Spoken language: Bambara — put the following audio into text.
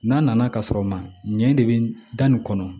N'a nana ka sɔrɔ ma ɲɛ de bɛ da nin kɔnɔ